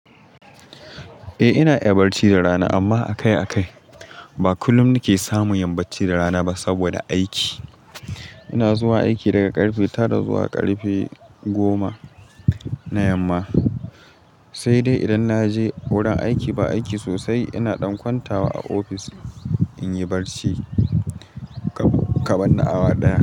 Eh ina iya barci da rana, amma akai-akai, ba kullum nike samu yin bacci da rana ba, saboda aiki. Ina zuwa aiki daga ƙarfe tara zuwa karfe goma, na yamma. Sai dai idan na je wurin aiki ba aiki sosai, ina ɗan kwantawa a ofis, in yi barci, kaban na awa ɗaya.